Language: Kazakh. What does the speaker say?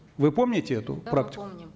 вы помните эту практику да мы помним